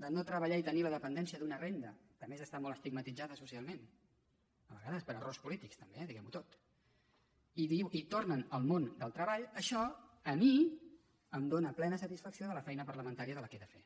per no treballar i tenir la dependència d’una renda que a més està molt estigmatitzada socialment a vegades per errors polítics també eh diguemho tot i tornen al món del treball això a mi em dóna plena satisfacció de la feina parlamentària que he de fer